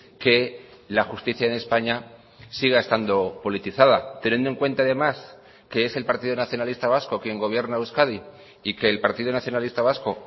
que la justicia en españa siga estando politizada teniendo en cuenta además que es el partido nacionalista vasco quien gobierna euskadi y que el partido nacionalista vasco